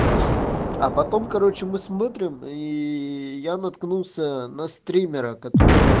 а потом короче мы смотрим и я наткнулся на стримера которого